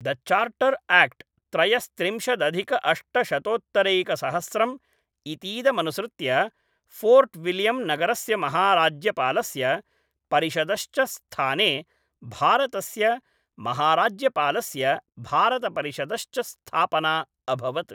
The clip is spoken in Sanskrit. द चार्टर् आक्ट् त्रयस्त्रिंशदधिकअष्टशतोत्तरैकसहस्रम् इतीदमनुसृत्य फोर्ट् विल्यम् नगरस्य महाराज्यपालस्य, परिषदश्च स्थाने भारतस्य महाराज्यपालस्य भारतपरिषदश्च स्थापना अभवत्।